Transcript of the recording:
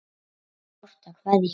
En sárt er að kveðja.